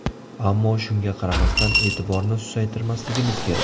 Ammo shunga qaramasdan e’tiborni susaytirmasligimiz kerak.